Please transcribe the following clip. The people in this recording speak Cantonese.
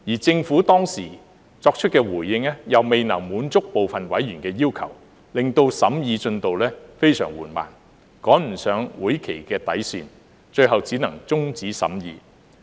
政府當時作出的回應又未能滿足部分委員的要求，令審議進度非常緩慢，趕不上會期的底線，最後只能終止審議。